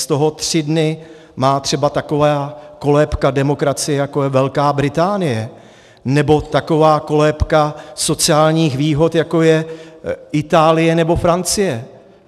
Z toho tři dny má třeba taková kolébka demokracie, jako je Velká Británie, nebo taková kolébka sociálních výhod, jako je Itálie nebo Francie.